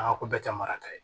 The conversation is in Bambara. Aa ko bɛɛ tɛ mara ta ye